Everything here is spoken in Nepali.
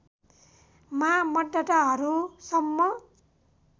मा मतदाताहरूसम्म